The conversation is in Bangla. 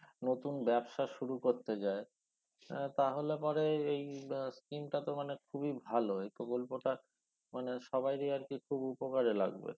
নতুন ব্যবসা শুরু করতে যায় এ তাহলে পরে এই আহ scheme টাতো মানে খুবই ভালো এই প্রকল্পটা মানে সবারই আরকি খুব উপকারে লাগবে